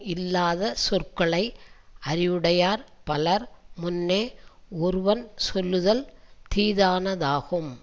இல்லாத சொற்களை அறிவுடையார் பலர் முன்னே ஒருவன் சொல்லுதல் தீதானதாகும்